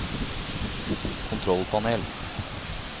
kontrollpanel